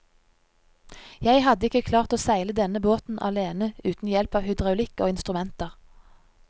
Jeg hadde ikke klart å seile denne båten alene uten hjelp av hydraulikk og instrumenter.